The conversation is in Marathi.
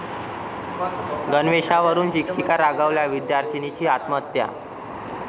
गणवेशावरुन शिक्षिका रागावल्यानं विद्यार्थिनीची आत्महत्या